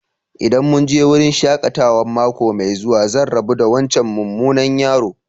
ldan mun je wurin shakatawan mako mai zuwa, zan rabu da wancan mumunan yaro.